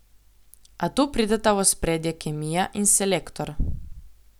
A tu prideta v ospredje kemija in selektor.